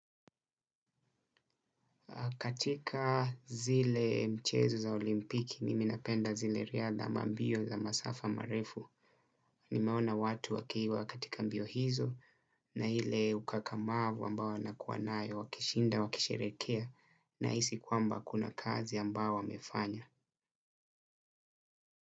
Katika zile mchezo za olimpiki, mimi napenda zile riadha ama mbio za masafa marefu. Nimeona watu wakiwa katika mbio hizo na hile ukakamavu ambao wanakua nayo, wakishinda, wakisherekea nahisi kwamba kuna kazi ambao wamefanya.